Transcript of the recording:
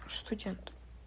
просто студент